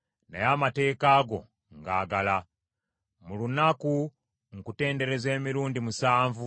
Mu lunaku nkutendereza emirundi musanvu olw’amateeka go amatuukirivu.